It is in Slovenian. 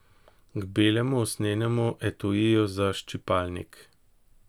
K belemu usnjenemu etuiju za ščipalnik.